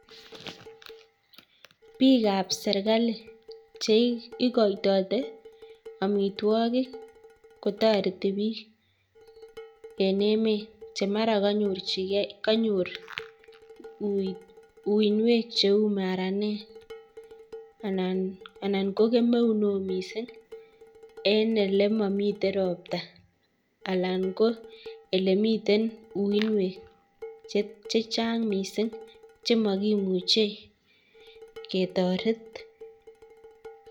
Biik ap serkali cheikoitote amitwogik kotoreti biik en emet che mara kanyorchigei, kanyor uwinwe cheuu maranet anan ko kemeut neoo miising' en ole mamite ropta anan ko ole miten winwek chechang' miising' chemakimuche ketoret